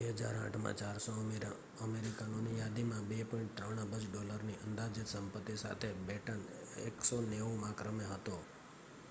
2008 માં 400 અમીર અમેરિકનોની યાદીમાં 2.3 અબજ ડોલરની અંદાજીત સંપત્તિ સાથે બેટન 190 માં ક્રમે હતો